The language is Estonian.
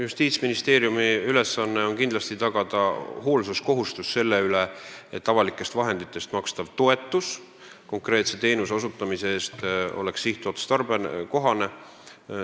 Justiitsministeeriumi ülesanne on kindlasti tagada hoolsuskohustus selle üle, et avalikest vahenditest makstav toetus konkreetse teenuse osutamise eest oleks sihtotstarbekohane.